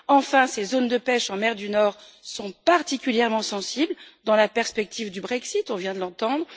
Enfin, ces zones de pêche en mer du Nord sont particulièrement sensibles dans la perspective du Brexit on vient de l'entendre.